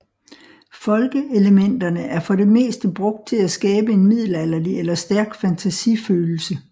Folke elementerne er for det meste brugt til at skabe en middelalderagtig eller stærk fantasi følelse